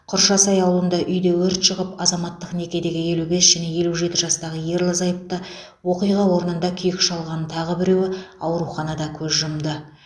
құршасай ауылында үйде өрт шығып азаматтық некедегі елу бес және елу жеті жастағы ерлі зайыпты оқиға орнында күйік шалған тағы біреуі ауруханада көз жұмды